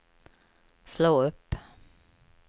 slå upp